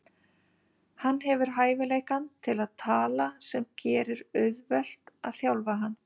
Hann hefur hæfileikann til að tala sem gerir auðvelt að þjálfa hann.